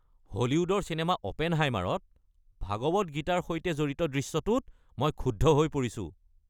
হলিউডৰ চিনেমা "অপেনহাইমাৰ"ত ভাগৱত গীতাৰ সৈতে জড়িত দৃশ্যটোত মই ক্ষুব্ধ হৈ পৰিছো।